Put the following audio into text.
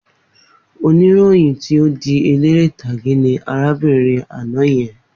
Oníròyìn tí ó di eléré ìtàgé ni arábìnrin àná yẹn.